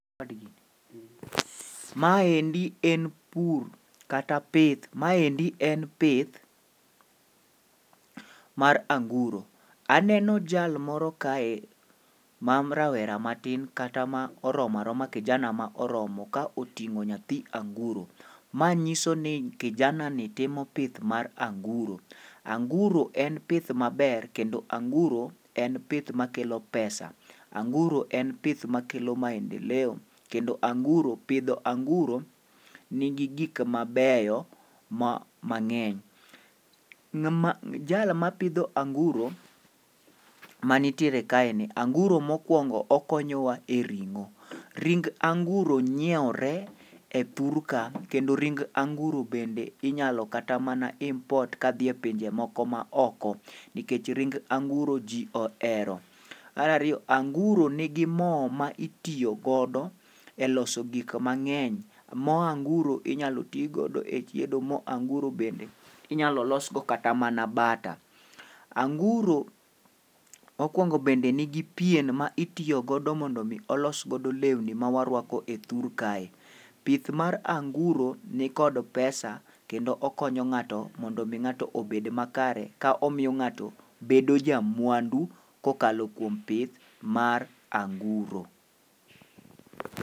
Maendi en pur kata pith. maendi en pith mar anguro, aneno jal moro kae ma rawera matin kata ma oromo aroma kijana ma oromo ka oting'o nyathi anguro. Ma nyiso ni kijanani timo pith mar anguro. Anguro en pith maber kendo anguro en pith makelo pesa. Anguro en pith makelo maendeleo, kendo anguro, pidho anguro nigi gik mabeyo ma ng'eny. Jal mapidho anguro manitiere kaeni, anguro mokwongo okonyowa e ring'o. Ring anguro nyiewre e thur ka ,kendo rin anguro bende inyalo kata mana import kadhi epinje moko maoko, nikech ring anguro ji ohero. mar ariyo, anguro nigi mo ma itiyo godo e loso gik mang'eny. Mo anguro inyalo ti godo e chido, mo angiuro bende inyalo losgo kata mana bata. anguro, mokwongo bende nigi pien ma itiyo godo mondo omi olos godo lewni ma warwako e thur kae, pith mar anguro nikod [cs[pesa kendo okonyo ng'ato mondo omi ng'ato obed makare, ka omiyo ng'ato bedo jamwandu kokalo kuom pith mar anguro.